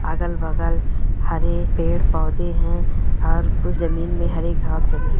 अगल बगल हरे पेड़-पौधे है और कुछ--